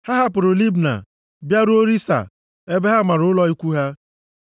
Ha hapụrụ Libna bịaruo Rissa ebe ha mara ụlọ ikwu ha.